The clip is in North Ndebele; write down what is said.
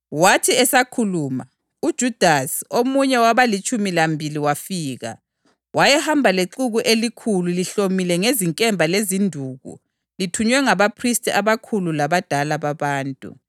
Wathi esakhuluma, uJudasi, omunye wabalitshumi lambili wafika. Wayehamba lexuku elikhulu lihlomile ngezinkemba lezinduku lithunywe ngabaphristi abakhulu labadala babantu.